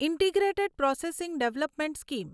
integrated processing development scheme